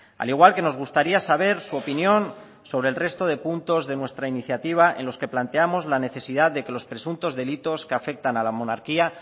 al igual que nos gustaría saber su opinión sobre el resto de puntos de nuestra iniciativa en los que planteamos la necesidad de que los presuntos delitos que afectan a la monarquía